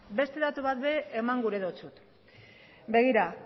beste datu bat ere eman gura dizut begira